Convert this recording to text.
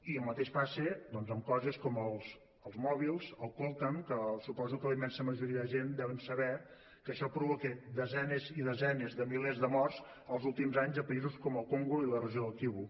i el mateix passa doncs amb coses com els mòbils el coltan que suposo que la immensa majoria de gent deuen saber que això provoca desenes i desenes de milers de morts els últims anys a països com el congo i la regió del kivu